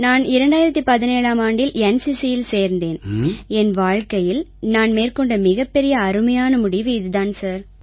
நான் 2017ஆம் ஆண்டில் NCCயில் சேர்ந்தேன் என் வாழ்க்கையில் நான் மேற்கொண்ட மிகப்பெரிய அருமையான முடிவு இதுதான் சார்